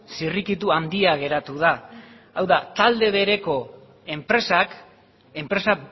zirrikitu handia geratu da hau da talde bereko enpresak enpresa